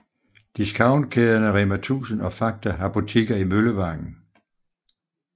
Discountkæderne Rema1000 og Fakta har butikker i Møllevangen